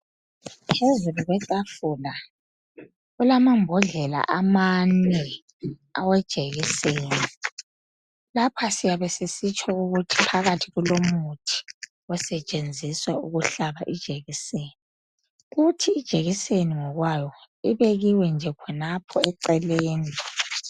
Ezibhedlela kulamambodlela amane awejekiseni. Lapha siyabe sisitsho ukuthi phakathi kulomuthi osetshenzuswa ukuhlaba ijekiseni. Ijekiseni ngokwayo. Ibekiwe khonapho eceleni.